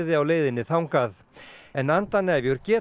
en geta stoppað lengi